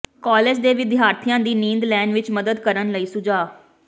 college ਦੇ ਵਿਦਿਆਰਥੀਆਂ ਦੀ ਨੀਂਦ ਲੈਣ ਵਿੱਚ ਮਦਦ ਕਰਨ ਲਈ ਸੁਝਾਅ